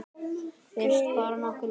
Fílast bara nokkuð vel.